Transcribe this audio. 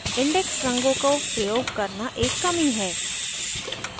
index रंगों को प्रयोग करना एक कमी है